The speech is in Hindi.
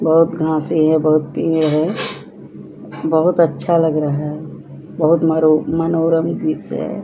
बहुत घासे हैं बहुत पेड़ है बहुत अच्छा लग रहा है बहुत मरो मनोरम दृश्य है ।